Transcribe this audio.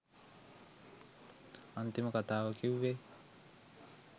අන්තිම කතාව කිව්වෙ